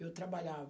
Eu trabalhava.